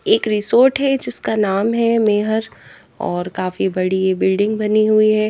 एक रिसोर्ट है जिसका नाम है मेहर और काफी बड़ी बिल्डिंग बनी हुई है।